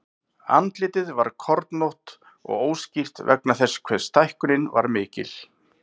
Andlitið var kornótt og óskýrt vegna þess hve stækkunin var mikil.